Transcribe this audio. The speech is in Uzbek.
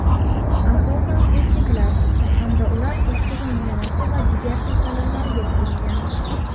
asosan erkaklar hamda ular oshqozon yarasi va jigar kasalliklariga chalingan.